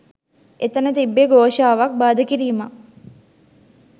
එතන තිබ්බේ ඝෝෂාවක් බාධා කිරීමක්